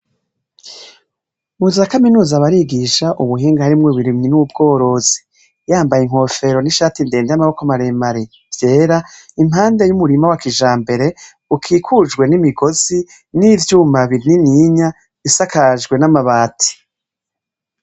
Mu za kaminuza barigisha ubuhinga harimwo uburimyi n'ubworozi. Yambaye inkofero n'ishati ndende y'amaboko maremare vyera, impande y'umurima wa kijambere, ukikujwe n'imigozi, n'ivyuma binininya, isakajwe n'amabati.